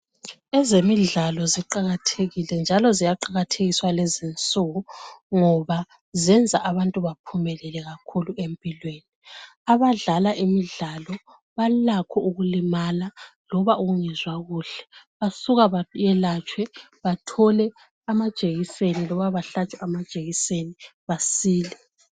Ezemidlalo ziqakathekile njalo ziyaqakathekiswa lezi insuku ngoba zenza abantu baphumelele kakhulu empilweni abadlala imidlalo balakho ukulimala loba ukungezwa kuhle basuke bayehlatshwe bathole amajekiseni loba bahlatshwe amajekiseni basile.